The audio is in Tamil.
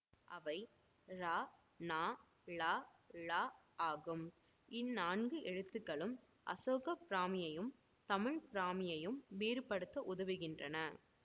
அவை றனளழ ஆகும் இந்நான்கு எழுத்துக்களும் அசோக பிராமியையும் தமிழ் பிராமியையும் வேறுபடுத்த உதவுகின்றன